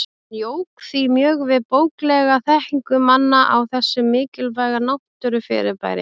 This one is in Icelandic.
Hann jók því mjög við bóklega þekkingu manna á þessu mikilvæga náttúrufyrirbæri.